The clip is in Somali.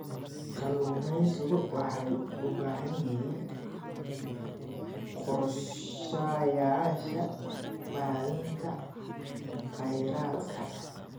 Kalluumaysigu waxay u baahan yihiin qorshayaasha maaraynta khayraadka.